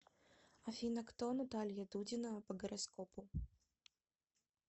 афина кто наталья дудина по гороскопу